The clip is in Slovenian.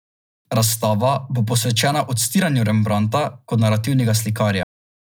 Razstava bo posvečena odstiranju Rembrandta kot narativnega slikarja.